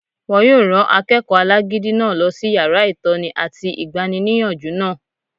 Wọ́n yóò rán akẹ́kọ̀ọ́ alágídí náà lọ sí yàrá ìtọ́ni àti igbaníniyànjú náà